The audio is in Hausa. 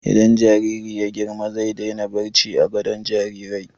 Idan jariri ya yi girma zai daina barci a gadon jarirai.